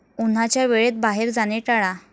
उन्हाच्या वेळेत बाहेर जाणे टाळा.